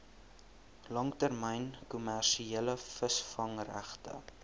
langtermyn kommersiële visvangregte